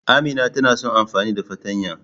Amina tana son amfani da fartanya.